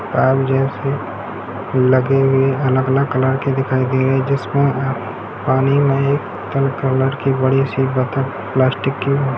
Pipe जैसे लगे हुए है अलग-अलग कलर के दिखाई दे रहे है जिसमें पानी में एक पर्पल कलर की बड़ी सी बत्तख प्लास्टिक की है।